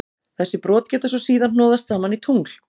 Þessi brot geta svo síðar hnoðast saman í tungl.